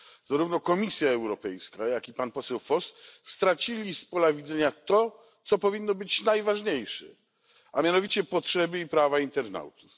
Zarówno Komisja Europejska, jak i pan poseł Voss stracili z pola widzenia to, co powinno być najważniejsze, a mianowicie potrzeby i prawa internautów.